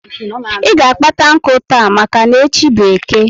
I ga kpata nku taa maka n'echi bu Eke